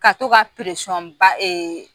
Ka to ka